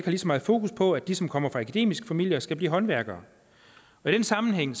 lige så meget fokus på at de som kommer fra akademiske familier skal blive håndværkere i den sammenhæng